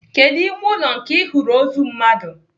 Kedụ ime ụlọ nke Ị hụrụ ozu mmadụ?